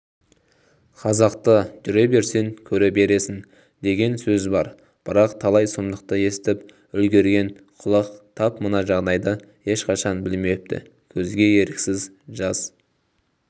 қазақта жүре берсең көре бересің деген сөз бар бірақ талай сұмдықты естіп үлгергенқұлақ тап мына жағдайды ешқашан білмепті көзге еріксіз жас